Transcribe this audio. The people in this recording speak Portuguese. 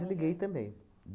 desliguei também.